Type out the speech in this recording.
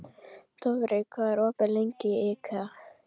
Dofri, hvað er opið lengi í IKEA?